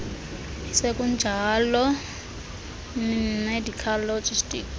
isekunjalo medical logistics